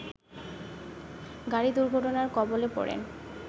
গাড়ি দুর্ঘটনার কবলে পড়েন